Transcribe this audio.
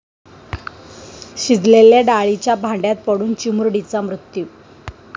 शिजलेल्या डाळीच्या भांड्यात पडून चिमुरडीचा मृत्यू